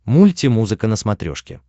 мульти музыка на смотрешке